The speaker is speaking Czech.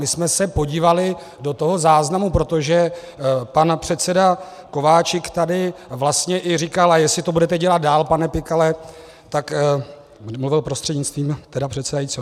My jsme se podívali do toho záznamu, protože pan předseda Kováčik tady vlastně i říkal: a jestli to budete dělat dál, pane Pikale, tak... mluvil prostřednictvím tedy předsedajícího.